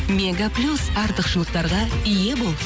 мега плюс артықшылықтарға ие бол